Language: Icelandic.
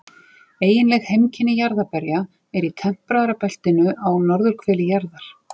Eiginleg heimkynni jarðarberja eru í tempraða beltinu á norðurhveli jarðar.